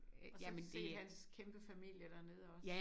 Og så set hans kæmpe familie dernede også